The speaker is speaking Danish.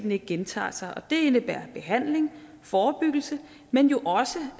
ikke gentager sig og det indebærer behandling forebyggelse men jo også